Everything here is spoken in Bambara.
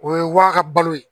O ye wa ka balo ye